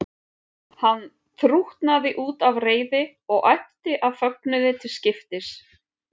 Hann þrútnaði út af reiði og æpti af fögnuði til skiptis.